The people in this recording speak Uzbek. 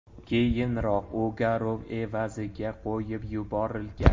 Keyinroq u garov evaziga qo‘yib yuborilgan .